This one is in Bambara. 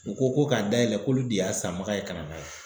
U ko ko k'a dayɛlɛ k'olu de y'a sanbaga ye ka na n'a ye.